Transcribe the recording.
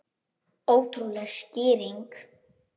Ótrúleg skýring